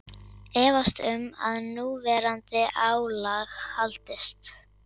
Efast um að núverandi álag haldist